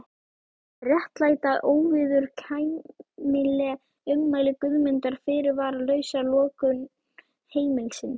En réttlæta óviðurkvæmileg ummæli Guðmundar fyrirvaralausa lokun heimilisins?